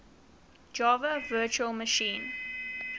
java virtual machine